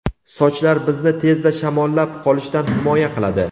Sochlar bizni tezda shamollab qolishdan himoya qiladi.